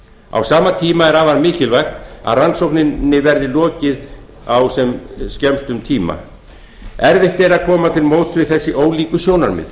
á sama tíma er afar mikilvægt að rannsókninni verði komið á sem fyrst erfitt er að koma til móts við þessi ólíku sjónarmið